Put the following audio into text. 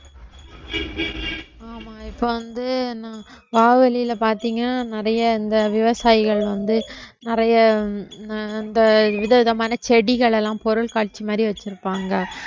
ஆமா இப்ப வந்து நான் பாத்தீங்க நிறைய இந்த விவசாயிகள் வந்து நிறைய ஆஹ் அந்த விதவிதமான செடிகள் எல்லாம் பொருட்காட்சி மாதிரி வச்சிருப்பாங்க